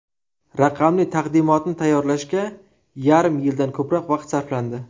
Raqamli taqdimotni tayyorlashga yarim yildan ko‘proq vaqt sarflandi.